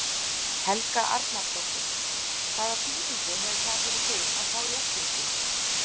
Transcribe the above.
Helga Arnardóttir: Hvaða þýðingu hefur það fyrir þig að fá réttindi?